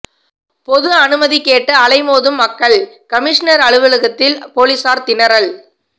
பொது அனுமதி கேட்டு அலைமோதும் மக்கள் கமிஷனர் அலுவலகத்தில் போலீசார் திணறல்